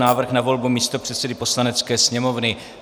Návrh na volbu místopředsedy Poslanecké sněmovny